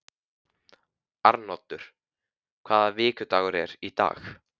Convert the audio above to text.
Arnoddur, hvaða vikudagur er í dag?